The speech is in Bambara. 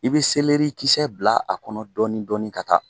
I bi kisɛ bila a kɔnɔ dɔɔnin dɔɔnin ka taa